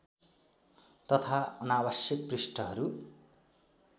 तथा अनावश्यक पृष्ठहरू